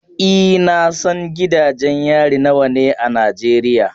E, na san gidajen yari nawa ne a Najeriya.